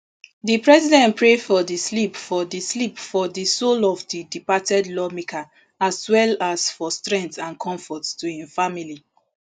di president pray for di for di sleep for di soul of di departed lawmaker as well as for strength and comfort to im family